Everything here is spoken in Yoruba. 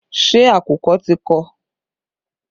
Ṣé àkùkọ ti kọ?